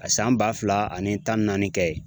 A san ba fila ani tan ni naani kɛ yen